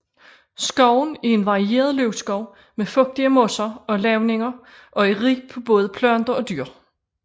Skoven er en varieret løvskov med fugtige moser og lavninger og er rig på både planter og dyr